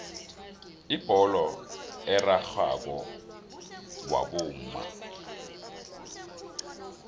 ibholo erarhako wabomma